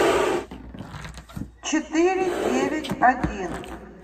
четыре девять один